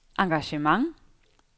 engagement